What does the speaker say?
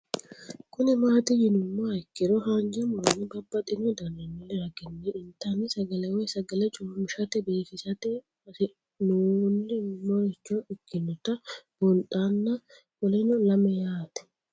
Kuni mati yinumoha ikiro hanja muroni babaxino daninina ragini intani sagale woyi sagali comishatenna bifisate horonsine'morich ikinota bunxana qoleno lame yaate